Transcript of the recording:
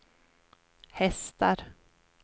hästar